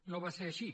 no va ser així